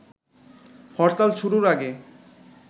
হরতাল শুরুর আগে